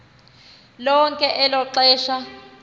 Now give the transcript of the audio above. lonke elo xesha